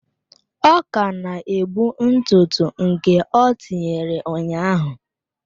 Ọ ka na-ebu ntụ ntụ nke ọ tinyere ụnyaahụ.